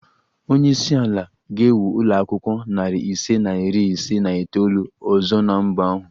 Onye isi ala ga-ewu ụlọ akwụkwọ narị ise na iri ise na itoolu ọzọ na mba ahụ